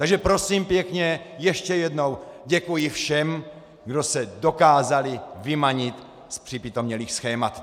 Takže prosím pěkně ještě jednou - děkuji všem, kdo se dokázali vymanit z připitomělých schémat.